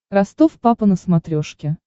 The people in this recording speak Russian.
ростов папа на смотрешке